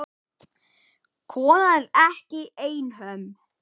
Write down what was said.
Konan er ekki einhöm.